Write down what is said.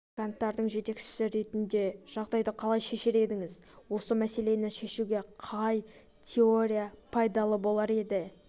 практиканттардың жетекшісі ретінде жағдайды қалай шешер едіңіз осы мәселені шешуге қай теория пайдалы болар еді